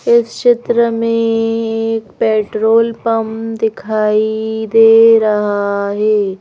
इस चित्र में ऐ एक पेट्रोल पंप दिखाई दे रहा है।